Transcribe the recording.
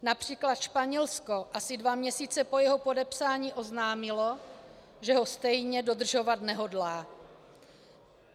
Například Španělsko asi dva měsíce po jeho podepsání oznámilo, že ho stejně dodržovat nehodlá.